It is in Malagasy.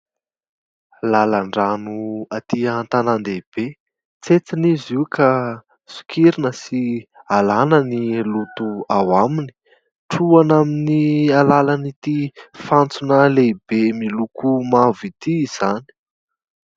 Lalan-drano atỳ antanan-dehibe. Tsentsina izy io ka sokirina sy alàna ny loto ao aminy. Trohana amin'ny alalan'ity fantsona lehibe miloko mavo ity izany.